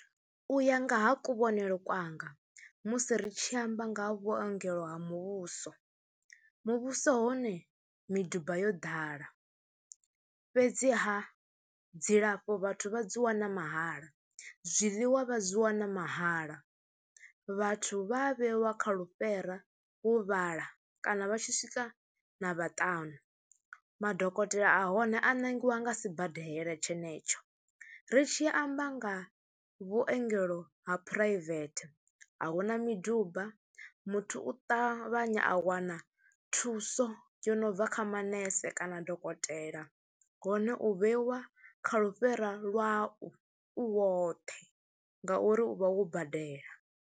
U ya nga ha kuvhonele kwanga musi ri tshi amba nga ha vhuongelo ha muvhuso, muvhuso hone miduba yo ḓala fhedziha dzilafho vhathu vha dzi wana mahala, zwiḽiwa vha dzi wana mahala, vhathu vha vheiwa kha lufhera vho vhala kana vha tshi swika na vhaṱanu, madokotela a hone a ṋangiwa nga sibadela tshenetsho. Ri tshi amba nga vhuongelo ha phuraivethe a hu na miduba, muthu u ṱavhanya a wana thuso yo no bva kha manese kana dokotela hone u vheiwa kha lufhera lwau u woṱhe ngauri u vha wo badela.